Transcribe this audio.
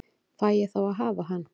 Fæ ég þá að hafa hann?